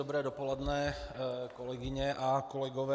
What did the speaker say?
Dobré dopoledne, kolegyně a kolegové.